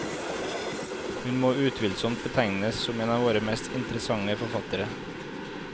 Hun må utvilsomt betegnes som en av våre mest interessante forfattere.